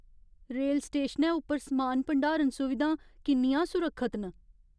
Rail स्टेशनै उप्पर समान भंडारण सुविधां किन्नियां सुरक्खत न?